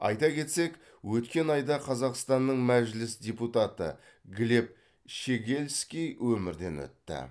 айта кетсек өткен айда қазақстанның мәжіліс депутаты глеб щегельский өмірден өтті